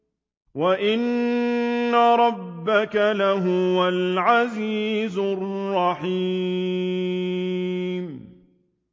وَإِنَّ رَبَّكَ لَهُوَ الْعَزِيزُ الرَّحِيمُ